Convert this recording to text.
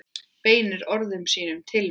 Beinir orðum sínum til mín.